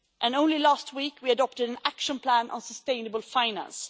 And only last week we adopt an action plan on sustainable finance.